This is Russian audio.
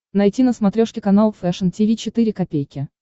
найти на смотрешке канал фэшн ти ви четыре ка